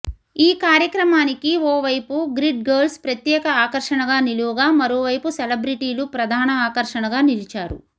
ఈ కార్యక్రమానికి ఓవైపు గ్రిడ్ గర్ల్స్ ప్రత్యేక ఆకర్షణగా నిలువగా మరోవైపు సెలబ్రిటీలు ప్రధాణ ఆకర్షణగా నిలిచారు